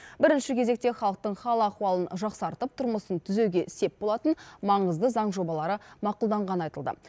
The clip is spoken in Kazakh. бірінші кезекте халықтың хал ахуалын жақсартып тұрмысын түзеуге сеп болатын маңызды заң жобалары мақұлданғаны айтылды